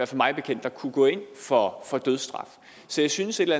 mig bekendt der kunne gå ind for dødsstraf så jeg synes et